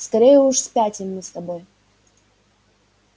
скорее уж спятим мы с тобой